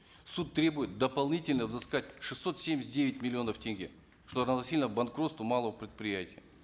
суд требует дополнительно взыскать шестьсот семьдесят девять миллионов тенге что равносильно банкротству малого предприятия